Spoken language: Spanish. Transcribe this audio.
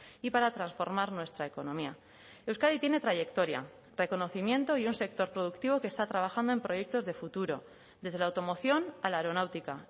y para transformar nuestra economía euskadi tiene trayectoria reconocimiento y un sector productivo que está trabajando en proyectos de futuro desde la automoción a la aeronáutica